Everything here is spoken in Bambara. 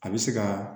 A bɛ se ka